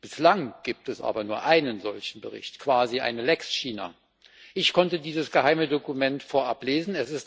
Bislang gibt es aber nur einen solchen Bericht, quasi eine lex China. Ich konnte dieses geheime Dokument vorab lesen.